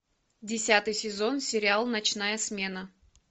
десятый сезон сериал ночная смена